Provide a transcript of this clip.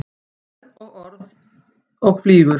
Fer orð og flýgur.